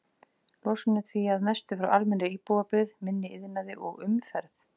Losun er því að mestu frá almennri íbúabyggð, minni iðnaði og umferð.